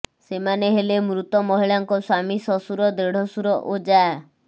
ସେମାନେ ହେଲେ ମୃତ ମହିଳାଙ୍କ ସ୍ୱାମୀ ଶ୍ୱଶୁର ଦେଢଶୁର ଓ ଯାଆ